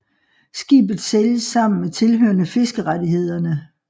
Skibet sælges sammen med tilhørende fiskerettighederne